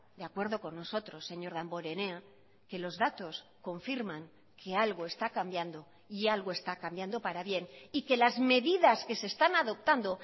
de acuerdo con nosotros señor damborenea que los datos confirman que algo está cambiando y algo está cambiando para bien y que las medidas que se están adoptando